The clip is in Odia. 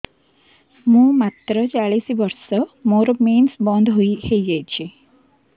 ମୁଁ ମାତ୍ର ଚାଳିଶ ବର୍ଷ ମୋର ମେନ୍ସ ବନ୍ଦ ହେଇଯାଇଛି